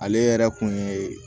Ale yɛrɛ kun ye